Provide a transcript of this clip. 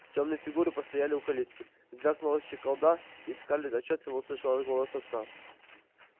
тёмные фигуры постояли у калитки звякнула щеколда и скарлетт отчётливо услышала голос отца